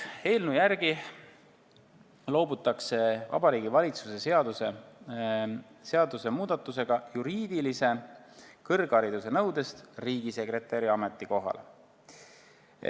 Eelnõu järgi loobutakse Vabariigi Valitsuse seaduse muudatusega riigisekretäri ametikohal juriidilise kõrghariduse nõudest.